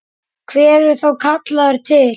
Hver er þá kallaður til?